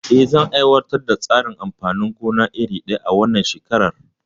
Eh, zan aiwatar da tsarin amfanin gona iri daya a wannan shekarar?